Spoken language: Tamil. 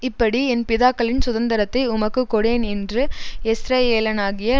இப்படி என் பிதாக்களின் சுதந்தரத்தை உமக்குக் கொடேன் என்று யெஸ்ரயேலனாகிய